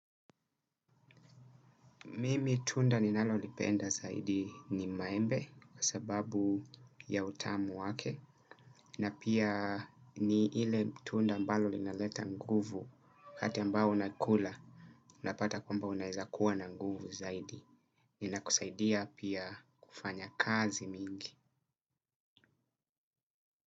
Mimi tunda ninalolipenda zaidi ni maembe kwa sababu ya utamu wake na pia ni ile tunda ambalo linaleta nguvu wakati ambao unakula unapata kwamba unaweza kuwa na nguvu zaidi. Inakusaidia pia kufanya kazi mingi.